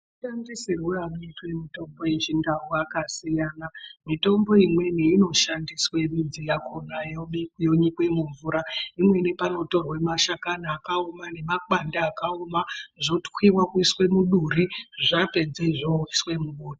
Mashandisirwe anoitwe mitombo yechindau akasiyana mitombo imweni inoshandiswe midzi yakona yobikwa yonyikwe mumvura imweni panotorwe mashakani akaoma nemakwande akaoma zvotwiwa kuiswe muduri zvapedze zvoiswe mubota.